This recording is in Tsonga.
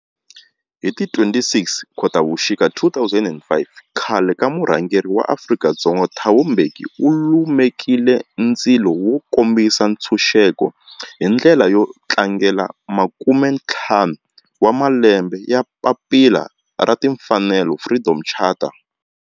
Hi ti 26 Khotavuxika 2005 khale ka murhangeri wa Afrika-Dzonga Thabo Mbeki u lumekile ndzilo wo kombisa ntshuxeko, hi ndlela yo tlangela makumentlhanu wa malembe ya papila ra timfanelo Freedom Charter.